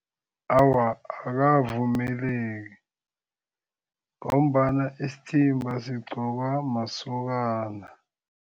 Awa, akavumeleki ngombana isithimba sigqokwa masokana.